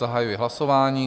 Zahajuji hlasování.